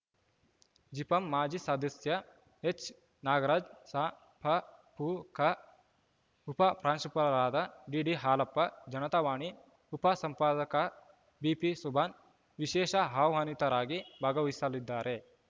ಜಿಪಂ ಮಾಜಿ ಸದಸ್ಯ ಎಚ್‌ನಾಗರಾಜ್‌ ಸಪಪೂಕಾಉಪ ಪ್ರಾಂಶುಪಾಲರಾದ ಡಿಡಿಹಾಲಪ್ಪ ಜನತಾವಾಣಿ ಉಪ ಸಂಪಾದಕ ಬಿಪಿಸುಬಾನ್‌ ವಿಶೇಷ ಆಹ್ವಾನಿತರಾಗಿ ಭಾಗವಹಿಸಲಿದ್ದಾರೆ